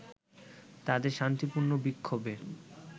তাদের শান্তিপূর্ণ বিক্ষোভে